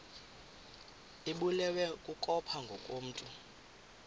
ibulewe kukopha ngokomntu